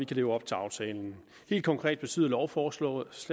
kan leve op til aftalen helt konkret betyder lovforslaget